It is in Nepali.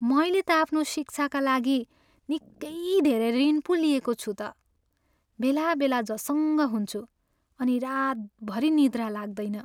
मैले त आफ्नो शिक्षाका लागि निक्कै धेरै ऋण पो लिएको छु त। बेलाबेला झसङ्ग हुन्छु अनि रातभरि निद्रा लाग्दैन।